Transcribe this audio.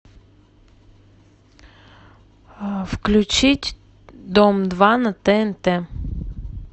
включить дом два на тнт